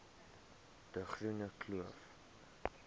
de groene kloof